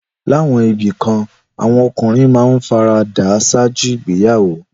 Láwọn ibì kan, àwọn ọkùnrin máa ń fara dà á ṣáájú ìgbéyàwó.